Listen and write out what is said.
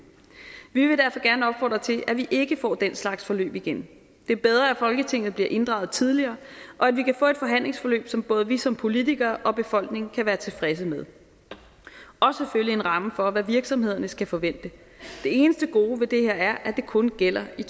vi vil derfor gerne opfordre til at vi ikke får den slags forløb igen det er bedre at folketinget bliver inddraget tidligere og at vi kan få et forhandlingsforløb som både vi som politikere og befolkningen kan være tilfredse med og selvfølgelig en ramme for hvad virksomhederne skal forvente det eneste gode ved det her er at det kun gælder i